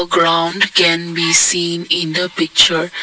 Ground can be seen in the picture.